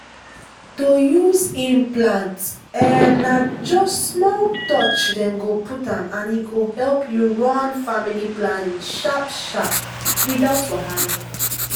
to use implant — um — na just small touch dem go put am and e go help you run family planning sharp-sharp without wahala.